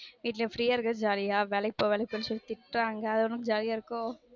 வீட்ல free யா இருக்கது jolly அ வேலைக்கு போவாது பேசுனா திட்டுறாங்க அது உனக்கு jolly யா இருக்கோ